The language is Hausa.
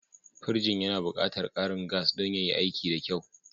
Pirjin yana buƙatar ƙarin gas don yayi aiki da kyau.